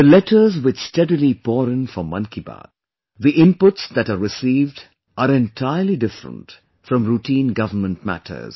The letters which steadily pour in for 'Mann Ki Baat', the inputs that are received are entirely different from routine Government matters